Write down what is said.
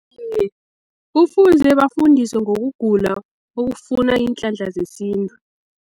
Iye, kufuze bafundiswe ngokugula okufuna iinhlanhla zesintu.